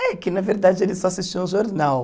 É, que na verdade eles só assistiam ao jornal.